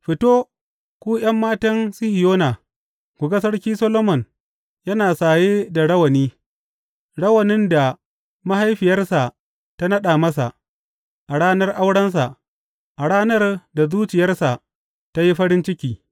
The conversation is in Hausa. Fito, ku ’yan matan Sihiyona, ku ga Sarki Solomon yana saye da rawani, rawanin da mahaifiyarsa ta naɗa masa, a ranar aurensa, a ranar da zuciyarsa ta yi farin ciki.